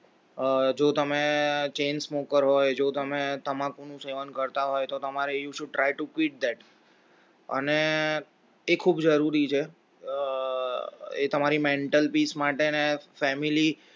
જો તમે chain smoker હોય જો તમે તમાકુનું સેવન કરતા હોય તો તમારે you should try to quit that અને એ ખૂબ જરૂરી છે એ તમારે mental peace માટે ને family